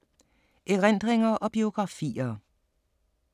Erindringer og biografier